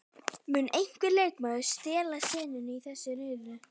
Mun einhver leikmaður stela senunni í þessum riðli?